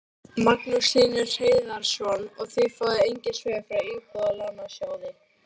Magnús Hlynur Hreiðarsson: Og þið fáið engin svör frá Íbúðalánasjóði?